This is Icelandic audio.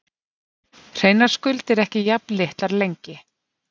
Hreinar skuldir ekki jafn litlar lengi